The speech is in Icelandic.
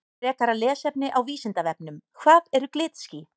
Frekara lesefni á Vísindavefnum Hvað eru glitský?